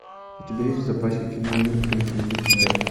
у тебя есть в запасе кино мир принадлежит тебе